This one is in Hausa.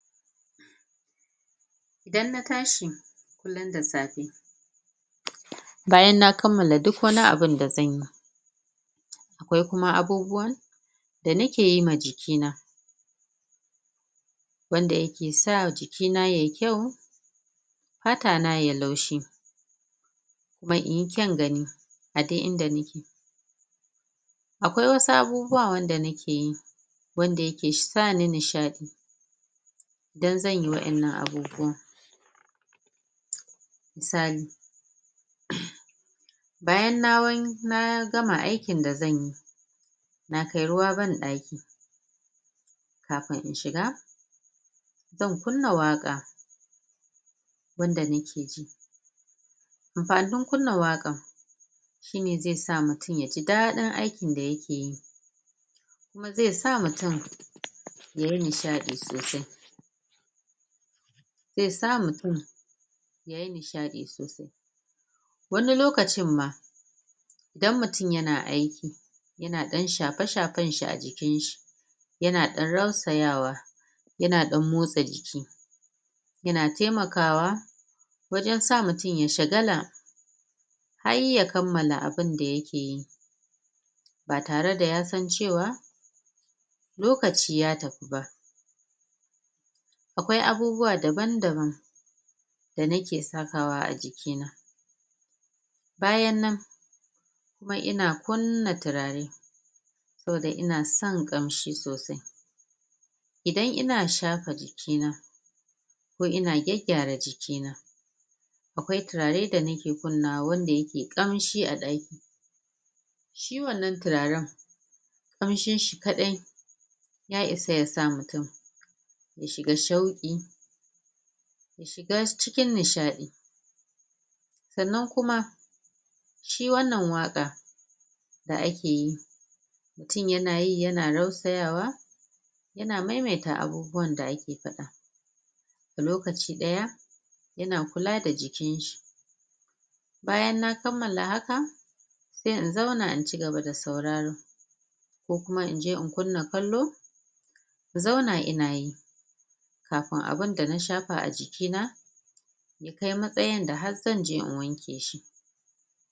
Idan na tashi kullun da safe bayan na kammala duk wani abun da zanyi, akwai kuma abubuwan da nake yi ma jiki na wanda yake sa jiki na yai kyau fata na yayi laushi, kuma inyi kyaun gani a duk inda nake akwai wasu abubuwa wanda nake yi wanda yake sani nishaɗi idan zanyi wayannan abubuwan misali bayan na gama aikin da zanyi na kai ruwa banɗaki, kafin in shiga zan kunna waƙa wanda nake ji amfanin kunna waƙan shine ze sa mutun yaji daɗin aikin da yake yi, kuma zesa mutun yayi nishaɗi sosai. Ze sa mutun da yai nishaɗi sosai, wani lokacin ma idan mutun yana aiki yana ɗan shafe-shafen shi a jikin shi, yana ɗan rausayawa yana ɗan motsa jiki yana temakawa wajan sa mutun ya shagala har ya kammala abin da yake yi ba tare da yasan cewa lokaci ya tafi ba, akwai abubuwa daban-daban da nake sakawa a jiki na, bayan nan kuma ina kunna tirare saboda ina son ƙamshi sosai, idan ina shafa jiki na ko ina gaggyara jiki na, akwai tirare da nake kunnawa wanda yake kamshi a ɗaki. Shi wannan tiraran ƙamshi shi kadai ya isa yasa mutun ya shiga shauƙi, ya shiga cikin nishaɗi sannan kuma shi wannan waƙa da ake yi mutun yanayi yana rausayawa yana maimaita abubuwan da ake faɗa. A lokaci ɗaya ina kula da jikin shi, bayan na kammala haka se in zauna in cigaba da sauraro ko kuma inje in kunna kallo in zauna ina yi, kafin abun da na shafa a jiki na ya kai matsayin da har zanje in wanke shi.